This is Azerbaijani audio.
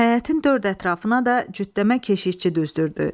Həyətin dörd ətrafına da cütdəmə keşişçi düzdürdü.